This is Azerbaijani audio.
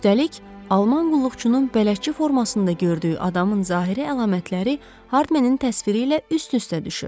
Üstəlik, alman qulluqçunun bələdçi formasında gördüyü adamın zahiri əlamətləri Hardmenin təsviri ilə üst-üstə düşür.